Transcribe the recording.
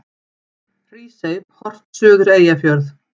Hrísey, horft suður Eyjafjörð.